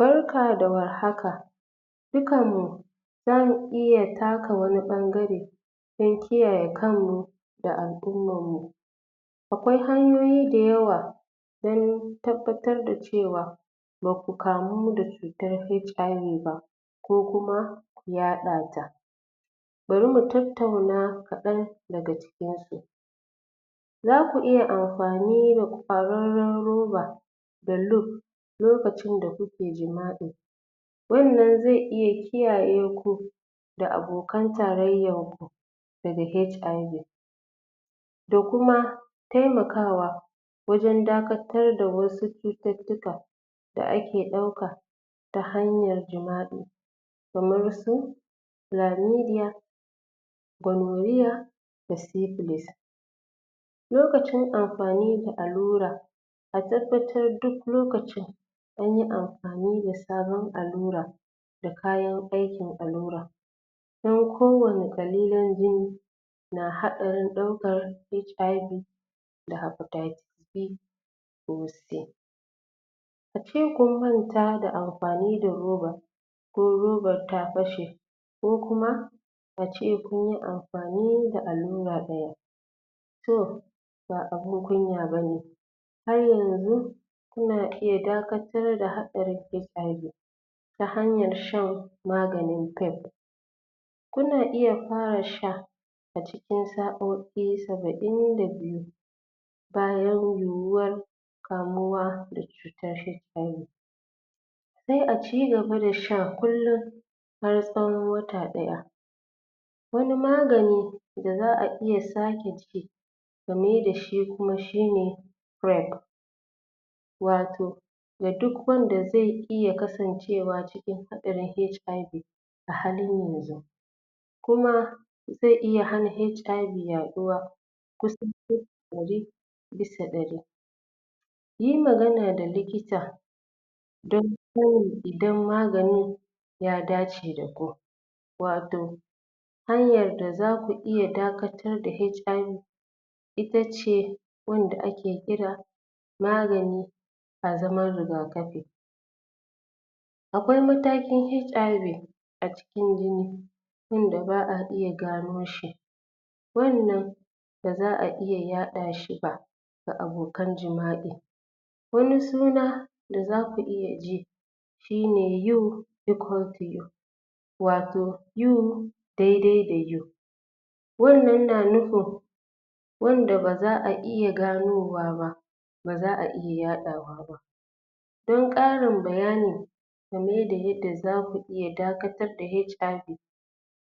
Barka da war haka dukkan mu za mu iya taka wani ɓangare don kiyaye kan mu da addinin mu akwai hanyoyi da yawa wurin tabbatar da cewa ba ku kamu da cutar HIV ba ko kuma yaɗa ta bari mu tattauna kaɗan daga cikin su za ku iya amfani da kororon roba da? lokacin da kuke jima'i wannan zai iya kiyaye ku da abokan tarayyan ka daga HIV da kuma taimakawa wajen dakatar da wasu cututtuka da a ke ɗauka ta hanyar jima'i kamar su chlamydia gonorrhea da syphilis lokacin amfani da allura a tabbatar duk lokacin wurin amfani da sabon allura da kayan aikin allurar don kowanne? biyu na haɗarin ɗaukar HIV da hepatitis B ko C a ce kun manta amfani da robar ko robar ta fashe ko kuma a ce ko amfani da allura ɗaya to ba abun kunya ba ne har yanzu ina iya dakatar da haɗarin HIV ta hanyar shan maganin kai ku na iya fara sha a cikin sa'o'i saba'in da biyu bayan yiyuwar kamuwa da cutar HIV sai a cigaba da sha kullum har tsawon wata ɗaya wani magani da za a iya sake ci ta mai dashi kuma shine bread wato ga duk wanda zai ci ya kasance wato da haɗarin HIV a halin yanzu kuma zai iya hana HIV yaɗuwa kusa kashi ɗari bisa ɗari yi magana da likita don? idan maganin ya dace da ku wato hanyar da za ku iya dakatar da HIV itace wanda a ke kira magani a zaman rigakafi akwai matakin HIV a cikin jini yadda ba a iya gano shi wannan ba za a iya yaɗa shi ba ga abokan jima'i wani suna da za ku iya ji shine you equals to me wato you dai dai da you wannan na nufin wanda ba za a iya ganowa ba ba za a iya yaɗawa don ƙarin bayani game da yadda za ku iya dakatar da HIV